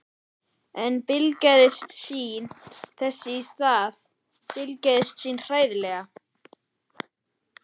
En blygðaðist sín þess í stað, blygðaðist sín hræðilega.